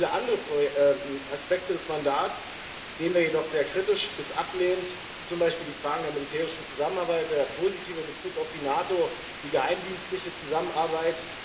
Viele andere Aspekte des Mandats sehen wir jedoch sehr kritisch bis ablehnend, zum Beispiel die Fragen der militärischen Zusammenarbeit, den positiven Bezug auf die NATO, die geheimdienstliche Zusammenarbeit.